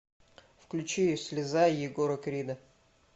включи слеза егора крида